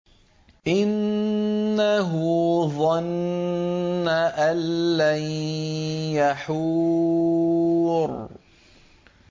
إِنَّهُ ظَنَّ أَن لَّن يَحُورَ